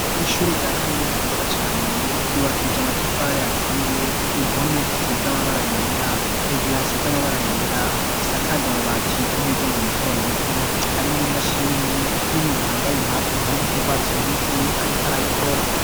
ishure rya kaminuza ryiza cane ryubakije amatafari aturiye impome zisize amabara yera hejuru hasi z'amabara yera isakaje amabati y'imigongo mito mito harimwo imashini n'umuntu yambaye impunzu z'ugwatsi rubisi ariko arayikora